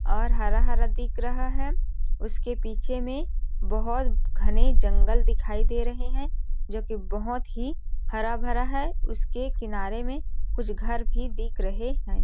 और हरा-हरा दिख रहा है उसके पीछे में बहुत घने जंगल दिखाई दे रहे हैं जो कि बहुत ही हरा भरा है उसके किनारे में कुछ घर भी दिख रहे हैं।